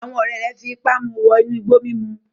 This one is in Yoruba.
Àwọn ọ̀rẹ́ rẹ̀ fipá mu wọ inú igbó mímu